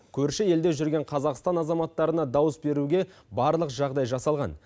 көрші елде жүрген қазақстан азаматтарына дауыс беруге барлық жағдай жасалған